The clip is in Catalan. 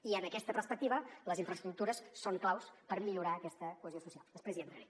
i en aquesta perspectiva les infraestructures són claus per millorar aquesta cohesió social després hi entraré